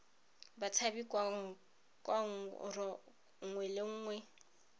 batshabi kwa rro nngwe le